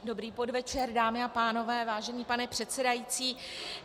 Dobrý podvečer, dámy a pánové, vážený pane předsedající.